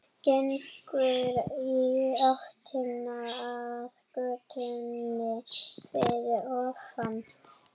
Gengur í áttina að götunni fyrir ofan.